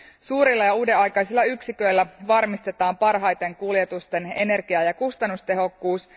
Suurilla ja uudenaikaisilla yksiköillä varmistetaan parhaiten kuljetusten energia ja kustannustehokkuus.